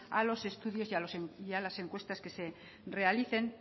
a los estudios y a las encuestas que se realicen